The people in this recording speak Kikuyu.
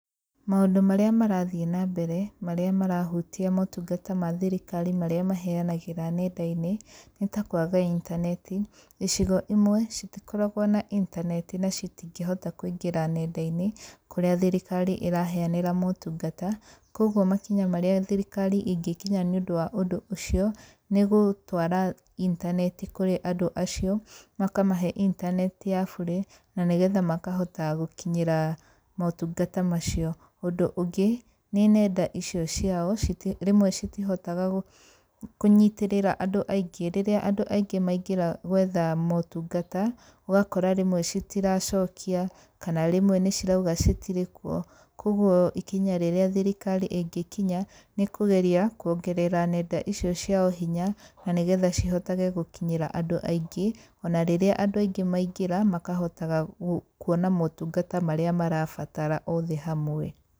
Maũndũ marĩa marathiĩ na mbere, marĩa marahutia motungata ma thirikari maria maheanagĩra nenda-inĩ, nĩ ta kwaga intaneti. Icigo imwe, citikoragũo na intaneti na citingĩhota kũingĩra nenda-inĩ, kũrĩa thirikari iraheanĩra motungata, kuoguo makinya marĩa thirikari ĩgnĩkinya nĩũndũ wa ũndũ ũcio, nĩgũtwara intaneti kũrĩ andũ acio, makamahe intaneti ya bure, na nĩgetha makahota gũkinyĩra, motungata macio. Ũndũ ũngĩ, nĩ nenda icio ciao, citi rĩmwe citihotaga kũnyitĩrĩra andũ aingĩ, rĩrĩa andũ aingĩ maingĩra gwetha motungata. Ũgakora rĩmwe citiracokia, kana rĩmwe nĩcirauga citirĩ kuo. Kuoguo ikinya rĩrĩa thirikari ĩngĩkinya, nĩ kũgeria kuongerera nenda icio ciao hinya, na nĩgetha cihotage gũkinyĩra andũ aingĩ, ona rĩrĩa andũ aingĩ maingĩra, makahotaga kuona motungata marĩa marabatara othe hamwe.